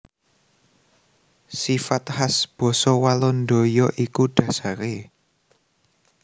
Sifat khas basa Walanda ya iku dhasaré